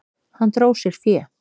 Hann dró sér fé.